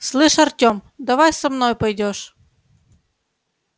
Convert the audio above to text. слышишь артём давай со мной пойдёшь